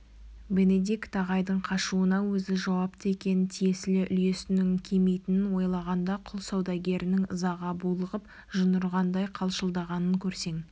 бенедикт ағайдың қашуына өзі жауапты екенін тиесілі үлесінің кемитінін ойлағанда құл саудагерінің ызаға булығып жын ұрғандай қалшылдағанын көрсең